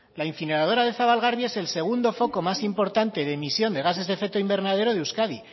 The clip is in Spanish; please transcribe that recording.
la incineradora de zabalgarbi es el segundo foco más importante de emisiones de gases de efecto invernadero de euskadi